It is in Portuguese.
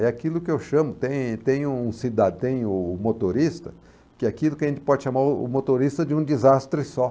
É aquilo que eu chamo, tem tem o cida tem o motorista, que é aquilo que a gente pode chamar o motorista de um desastre só.